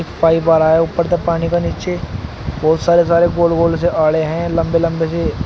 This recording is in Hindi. पाइप आ रहा है ऊपर तक पानी का नीचे बहुत सारे सारे गोल गोल से आले हैं लंबे लंबे से।